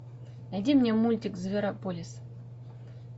найди мне мультик зверополис